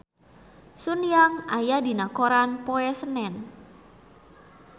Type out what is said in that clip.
Sun Yang aya dina koran poe Senen